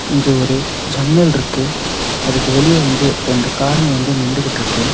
இங்க ஒரு ஜன்னல்ருக்கு அதுக்கு வெளிய வந்து ரெண்டு காருங்க வந்து நின்டுகிட்ருக்கு.